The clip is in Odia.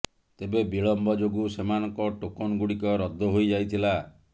ତେବେ ବିଳମ୍ବ ଯୋଗୁଁ ସେମାନଙ୍କ ଟୋକନ ଗୁଡିକ ରଦ୍ଧ ହୋଇ ଯାଇଥିଲା